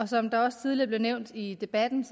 som der også tidligere blev nævnt i debatten